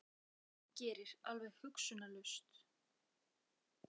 Hann gerir það sem hann gerir, alveg hugsunarlaust.